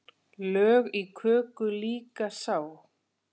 Lög í köku líka sá.